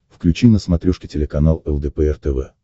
включи на смотрешке телеканал лдпр тв